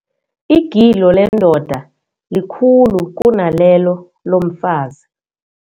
Igilo lendoda likhulu kunalelo lomfazi.